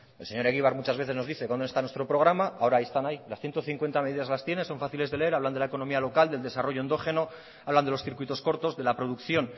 el señor egibar muchas veces nos dice dónde está nuestro programa ahora están ahí las ciento cincuenta medidas las tienes son fáciles de leer hablan de la economía local del desarrollo endógeno hablan de los circuitos cortos de la producción